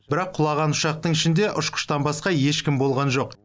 бірақ құлаған ұшақтың ішінде ұшқыштан басқа ешкім болған жоқ